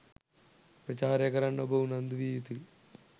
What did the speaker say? ප්‍රචාරය කරන්න ඔබ උනන්දු විය යුතුයි